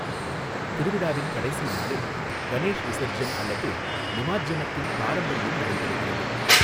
திருவிழாவின் கடைசி நாளில், கணேஷ் விசர்ஜன் அல்லது நிமாஜ்ஜனத்தின் பாரம்பரியம் நடைபெறுகிறது.